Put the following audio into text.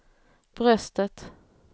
bröstet